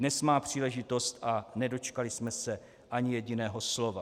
Dnes má příležitost, a nedočkali jsme se ani jediného slova.